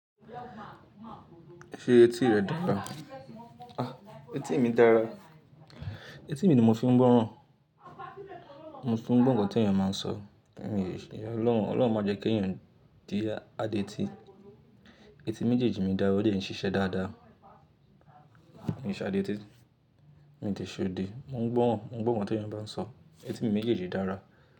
Ṣé etí rẹ dára? Etí mi dára. Etí mi ni mo fi ń gbọ́ràn, mo fi ń gbọ́ nkan tí ènìyàn máa ń sọ. Ọ̀lọ́run máa jẹ́ kí ènìyàn di adétí. Etí méjèèjì mi dára ó dè ń ṣiṣẹ́ dáadáa. Mo de ṣeedẹ, mo ń gbọ́ ohun mo n gbo ohun tee bá ń sọ. Etí mi méjèèjì dára.